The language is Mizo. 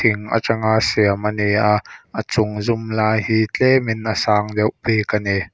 thing atanga siam a ni a a chung zum lai hi tlem in a sang deuh bik a ni.